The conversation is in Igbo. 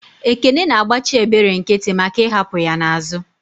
Ekene na agbachi ebere nkiti maka I'hapu ya n'azu.